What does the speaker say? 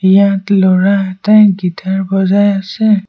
ইয়াত ল'ৰা এটাই গীটাৰ বজায় আছে।